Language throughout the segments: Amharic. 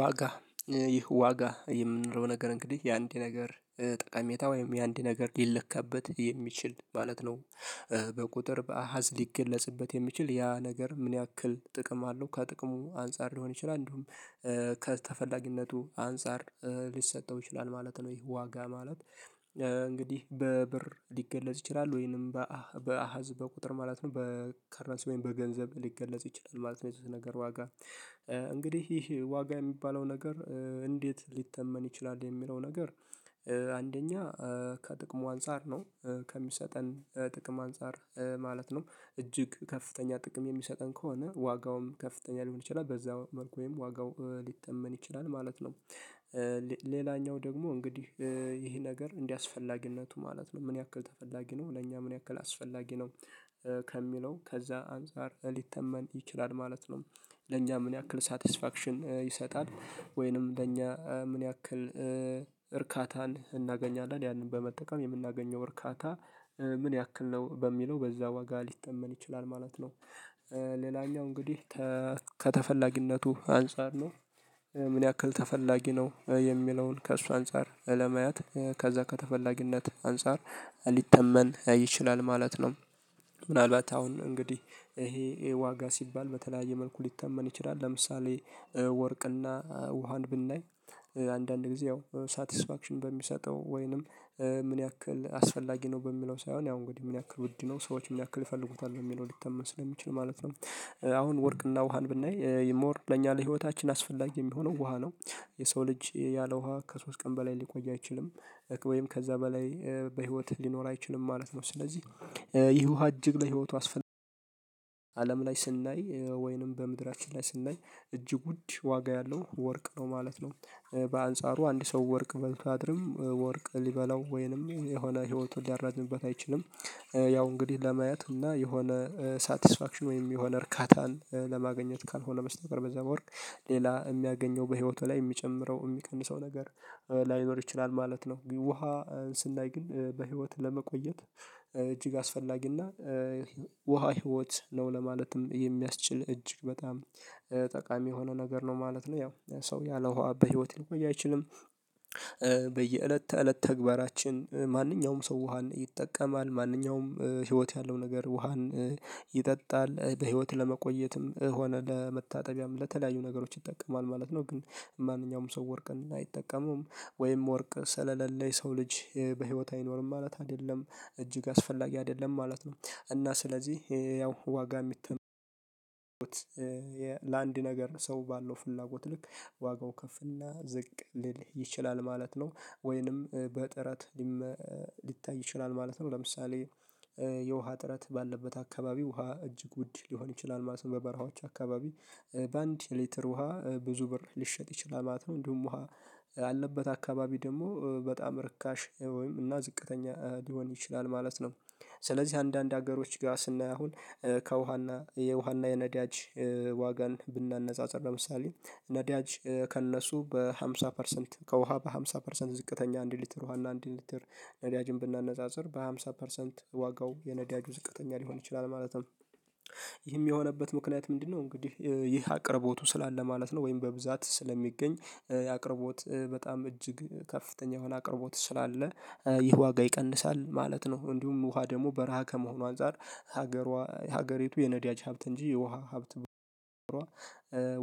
ዋጋ ዋጋ የምንለው ነገር እንግዲህ የአንድ ነገር ጠቀሜታ ወይም የአንድ ነገር ሊለካበት የሚችል ማለት ነው። በቁጥር በአሃዝ ሊገለጽበት የሚችል ያ ነገር ምን ያክል ጥቅም አለው ከጥቅሙ አንፃር ሊሆን ይችላል እንደውም ከተፈላጊነቱ አንፃር ሊሰጠው ይችላል ማለት ነው። ይሄ ዋጋ ማለት እንግዲህ በብር ሊገለጽ ይችላል ወይንም በአሀዝ በቁጥር ማለት ነው በከረንሲ ወይም በገንዘብ ሊገለጽ ይችላል ማለት ነው የዚህ ነገር ዋጋ። እንግዲህ ይህ ዋጋ የሚባለው ነገር እንዴት ሊተመን ይችላል የሚለው ነገር? አንደኛ ከጥቅሙ አንፃር ነው ከሚሰጠን ጥቅም አንፃር ማለት ነው እጅግ ከፍተኛ ጥቅም የሚሰጠን ከሆነ ዋጋውም ከፍተኛ ሊሆን ይችላል በዛ መልኩ ወይም ዋጋው ሊተመን ይችላል ማለት ነው። ሌላኛው ደግሞ እንግዲህ ይህ ነገር እንዳስፈላጊነቱ ማለት ነው ምን ያክል ተፈላጊ ነው ለኛ ምን ያክል አስፈላጊ ነው ከሚለው ከዛ አንፃር ሊተመን ይችላል ማለት ነው። ለኛ ምን ያክል ሳቲስፋክሽን ይሰጣል ወይንም ለእኛ ምን ያክል እርካታን እናገኛለን ያንን በመጠቀም የምናገኘው እርካታ ምን ያክል ነው በሚለው በዛ ዋጋ ሊተመን ይችላል ማለት ነው። ሌላኛው እንግዲህ ከተፈላጊነቱ አንፃር ነው ምን ያክል ተፈላጊ ነው የሚለውን ከእሱ አንፃር ለማየት ከዛ ከተፈላጊነት አንፃር ሊተመን ይችላል ማለት ነው። ምናልባት አሁን እንግዲህ ይሄ ይሄ ዋጋ ሲባል በተለያየ መልኩ ሊተመን ይችላል ለምሳሌ ወርቅና ውሃን ብናይ አንዳንድ ጊዜ ያው ሳቲስፋክሽን በሚሰጠው ወይንም ምን ያክል አስፈላጊ ነው በሚለው ሳይሆን ያው እንግዲህ ምን ያክል ውድ ነው ሰዎች ምን ያክል ይፈልጉታል በሚለው ሊተመን ስለሚችል ማለት ነው። አሁን ወርቅና ውሃን ብናይ ሞር ለኛ ለህይወታችን አስፈላጊ የሚሆነው ውሃ ነው። የሰው ልጅ ያለ ውሃ ከሶስት ቀን በላይ ሊቆይ አይችልም። ወይም ከዛ በላይ በህይወት ሊኖር አይችልም ማለት ነው ስለዚህ ይህ ውሃ እጅግ ለህይወቱ አስፈላጊ። አለም ላይ ስናይ ወይንም በምድራችን ላይ ስናይ እጅግ ውድ ዋጋ ያለው ወርቅ ነው ማለት ነው። በአንጻሩ አንድ ሰው ወርቅ በልቶ አያድርም ወርቅ ሊበላው ወይንም የሆነ ህይወቱን ሊያራዝምበት አይችልም። ያው እንግዲህ ለማየት እና የሆነ ሳትስፋክሽን ወይም የሆነ እርካታን ለማግኘት ካልሆነ በስተቀር በዛ በወርቅ ሌላ የሚያገኘው በህይወቱ ላይ የሚጨምረው የሚቀንሰው ነገር ላይኖር ይችላል ማለት ነው። ውሃ ስናይ ግን በህይወት ለመቆየት እጅግ አስፈላጊና ውሃ ህይወት ነው ለማለትም የሚያስችል እጅግ በጣም ጠቃሚ የሆነ ነገር ነው። ማለት ነው ያው ሰው ያለ ውሃ በህይወት ሊቆይ አይችልም። በየእለት ተእለት ተግባራችን ማንኛውም ሰው ውሃን ይጠቀማል ማንኛውም ህይወት ያለው ነገር ውሃን ይጠጣል በህይወት ለመቆየትም ሆነ ለመታጠቢያም ለተለያዩ ነገሮች ይጠቀማል ማለት ነው። ግን ማንኛውም ሰው ወርቅን አይጠቀመውም። ወይም ወርቅ ስለሌለ የሰው ልጅ በህይወት አይኖርም ማለት አይደለም እጅግ አስፈላጊ አይደለም ማለት ነው። እና ስለዚህ ያው ዋጋ የሚ ት ለአንድ ነገር ሰው ባለው ፍላጎት ልክ ዋጋው ከፍና ዝቅ ሊል ይችላል ማለት ነው። ወይንም በጥረት ሊታይ ይችላል ማለት ነው። ለምሳሌ የውሃ እጥረት ባለበት አካባቢ ውሃ እጅግ ውድ ሊሆን ይችላል ማለት ነው። በበረሃዎች አካባቢ በአንድ ሊትር ውሃ ብዙ ብር ሊሸጥ ይችላል ማለት ነው። እንዲሁም ውሃ ያለበት አካባቢ ደግሞ በጣም ርካሽ ወይም እና ዝቅተኛ ሊሆን ይችላል ማለት ነው። ስለዚህ አንዳንድ ሀገሮች ጋር ስናይ አሁን ከውሃና የውሃና የነዳጅ ዋጋን ብናነፃፅር ለምሳሌ ነዳጅ ከእነሱ በሃምሳ ፐርሰንት ከውሃ በሃምሳ ፐርሰንት ዝቅተኛ አንድ ሊትር ውሃ እና አንድ ሊትር ነዳጅን ብናነፃፅር በሃምሳ ፐርሰንት ዋጋው የነዳጁ ዝቅተኛ ሊሆን ይችላል ማለት ነው። ይህም የሆነበት ምክንያት ምንድነው? እንግዲህ ይህ አቅርቦቱ ስላለ ማለት ነው ወይም በብዛት ስለሚገኝ የአቅርቦት በጣም እጅግ ከፍተኛ የሆነ አቅርቦት ስላለ ይህ ዋጋ ይቀንሳል ማለት ነው። እንዲሁም ውሃ ደግሞ በረሃ ከመሆኑ አንፃር ሀገሯ የሀገሪቱ የነዳጅ ሀብት እንጂ የውሃ ሀብት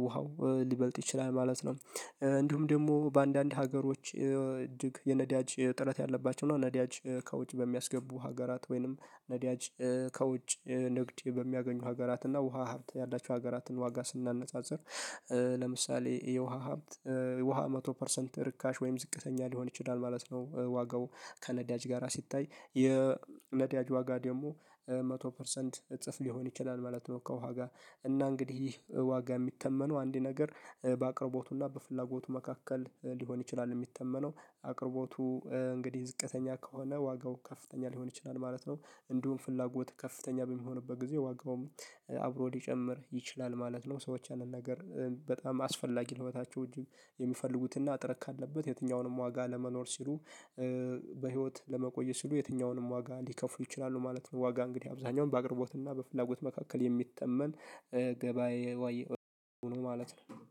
ውሃው ሊበልጥ ይችላል ማለት ነው። እንዲሁም ደግሞ በአንዳንድ ሀገሮች እጅግ የነዳጅ እጥረት ያለባቸው እና ነዳጅ ከውጭ በሚያስገቡ ሀገራት ወይንም ነዳጅ ከውጭ ንግድ በሚያገኙ ሀገራት እና ውሃ ሀብት ያላቸው ሀገራትን ዋጋ ስናነጻጽር። ለምሳሌ የውሃ ሀብት ውሃ መቶ ፐርሰንት ርካሽ ወይም ዝቅተኛ ሊሆን ይችላል ማለት ነው። ዋጋው ከነዳጅ ጋራ ሲታይ የነዳጅ ዋጋ ደግሞ መቶ ፐርሰንት እጥፍ ሊሆን ይችላል ማለት ነው። ከውሃ ጋር እና እንግዲህ ይህ ዋጋ የሚተመነው አንድ ነገር በአቅርቦቱና በፍላጎቱ መካከል ሊሆን ይችላል የሚተመነው አቅርቦቱ እንግዲህ ዝቅተኛ ከሆነ ዋጋው ከፍተኛ ሊሆን ይችላል ማለት ነው። እንዲሁም ፍላጎት ከፍተኛ በሚሆንበት ጊዜ ዋጋውም አብሮ ሊጨምር ይችላል ማለት ነው። ሰዎች ያንን ነገር በጣም አስፈላጊ ለህይወታቸው እጅግ የሚፈልጉትና እጥረት ካለበት የትኛውንም ዋጋ ለመኖር ሲሉ በህይወት ለመቆየት ሲሉ የትኛውንም ዋጋ ሊከፍሉ ይችላሉ ማለት ነው። ዋጋ እንግዲህ አብዛኛውን በአቅርቦትና በፍላጎት መካከል የሚተመን ገባዬ ዋይ ነው ማለት ነው።